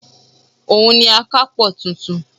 Òun ni akápò tuntun